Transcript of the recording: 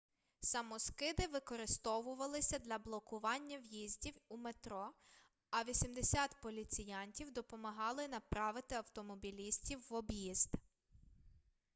самоскиди викорисовувалися для блокування в'їздів у метро а 80 поліціянтів допомогали направити автомобілістів в об'їзд